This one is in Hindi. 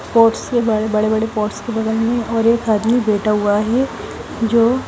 पोटस के बारे बड़े बड़े पेट्स के बगल में और एक आदमी बैठा हुआ है जो --